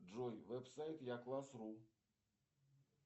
джой веб сайт я класс ру